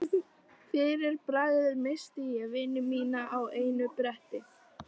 Fyrir bragðið missti ég vini mína á einu bretti.